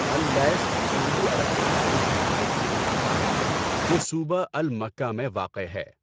Al Lith سعودی عرب کا ایک رہائشی علاقہ ہے جو صوبہ المکہ میں واقع ہے۔